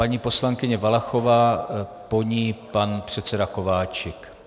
Paní poslankyně Valachová, po ní pan předseda Kováčik.